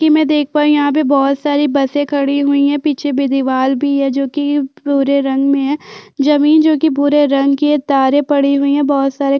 कि मै देख पा रही हूँ यहाँ पे बोहत सारी बसे खड़ी हुई है पीछे भी दिवाल भी हैं जोकी भुरे रंग मे है जमीन जो की भुरे रंग कि है तारे पड़ी हुई हैं बहोत सारे--